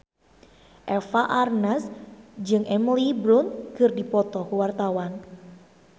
Eva Arnaz jeung Emily Blunt keur dipoto ku wartawan